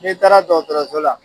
N"i taara dɔgɔtɔrɔso la